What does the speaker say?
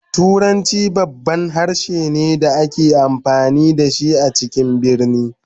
Turanci babban harshe ne da ake amfani da shi a cikin birane